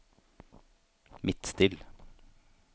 Midtstill